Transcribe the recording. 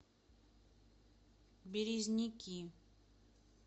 березники